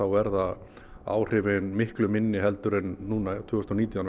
verða áhrifin miklu minni heldur en núna tvö þúsund og nítján